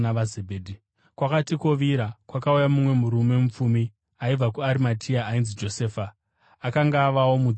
Kwakati kwovira, kwakauya mumwe murume mupfumi aibva kuArimatea, ainzi Josefa, akanga avawo mudzidzi waJesu.